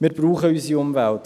Wir brauchen unsere Umwelt.